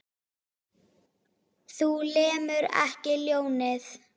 Þú lemur ekki ljónið.